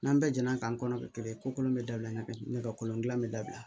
N'an bɛɛ jɛ n'a k'an kɔnɔ kɛ kelen ye ko kolon bɛ dabila ɲɛkuran dilan bɛ dabila